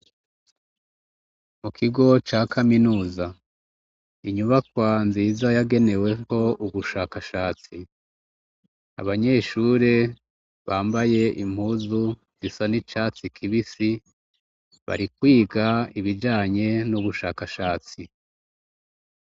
Mu kigo ca kaminuza inyubakwa nziza yageneweko ubushakashatsi abanyeshure bambaye impuzu zisa n'icatsi kibisi barikwiga ibijanye n'ubushakashatsi.